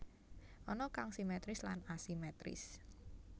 Ana kang simétris lan asimétris